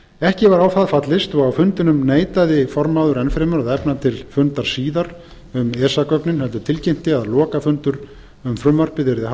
ekki var á það fallist og á fundinum neitaði formaður enn fremur að efna til fundar síðar um esa gögnin heldur tilkynnti að lokafundur um frumvarpið yrði haldinn